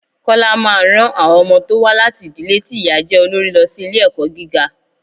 Kọ́lá máa ran àwọn ọmọ tó wá láti ìdílé ti ìyá jẹ́ olorí lọ sí ilé ẹ̀kọ́ gíga.